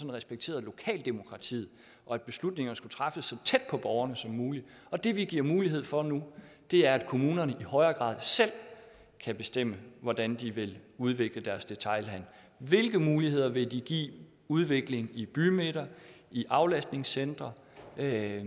respektere lokaldemokratiet og at beslutningerne skal træffes så tæt på borgerne som muligt det vi giver mulighed for nu er at kommunerne i højere grad selv kan bestemme hvordan de vil udvikle deres detailhandel hvilke muligheder vil de give udvikling i bymidter i aflastningscentre det er